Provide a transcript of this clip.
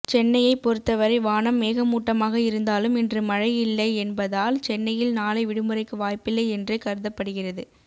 சென்னையை பொருத்தவரை வானம் மேகமூட்டமாக இருந்தாலும் இன்று மழை இல்லை என்பதால் சென்னையில் நாளை விடுமுறைக்கு வாய்ப்பில்லை என்றே கருதப்படுகிறது